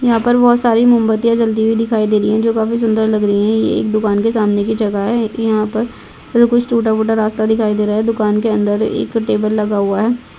यहाँ पर बोहोत सारी मोमबत्तियाँ जलती हुई दिखाई दे रही है जो काफी सुंदर लग रही है ये एक दुकान के सामने की जगह है यहाँ पर और कुछ टूटा- फूटा रास्ता दिखाई दे रहा है दुकान के अंदर एक टेबल लगा हुआ हैं।